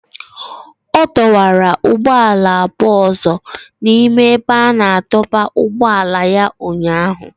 Ọ dọwara ụgbọala abụọ ọzọ n'ime ebe a na-adọba ụgbọala ya ụnyahụ